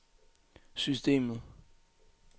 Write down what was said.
systemet